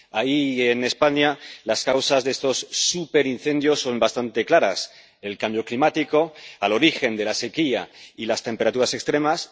Ahí, y en España, las causas de estos superincendios son bastante claras el cambio climático, en el origen de la sequía y las temperaturas extremas